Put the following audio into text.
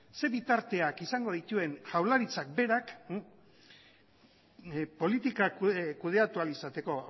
zein bitarteak izango dituen jaurlaritzak berak politikak kudeatu ahal izateko